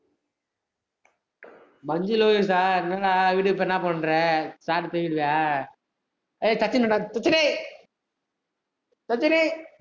மஞ்சு லோகேஷா என்னனா வீட்டுக்கு போன என்ன பண்ற சாப்பிட்டு, தூங்கிட்டிய ஏய் சச்சின்னு டா சச்சினே சச்சினே